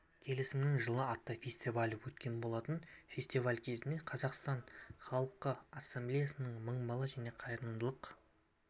келісімнің жылы атты фестивалі өткен болатын фестиваль кезінде қазақстан халқы ассамблеясының мың бала және қайырымдылық